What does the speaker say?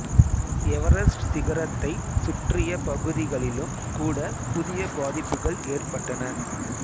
Everest சிகரத்தைச் சுற்றிய பகுதிகளிலும் கூட புதிய பாதிப்புகள் ஏற்பட்டன